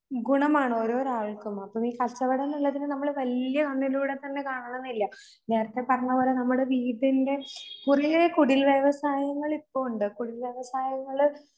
ഗുണമാണ് ഓരോരാൾക്കും. അപ്പ ഈ കച്ചവടംന്നുള്ളതിന് നമ്മള് വല്യ കണ്ണിലൂടെതന്നെ കാണണംന്നില്ല. നേരത്തെ പറഞ്ഞപോലെ നമ്മടെ വീടിൻറെ കുറേ കുടിൽ വ്യവസായങ്ങളിപ്പൊ ഉണ്ട്. കുടിൽവ്യവസായങ്ങള്